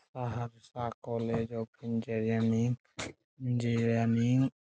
Saharsa college engineering.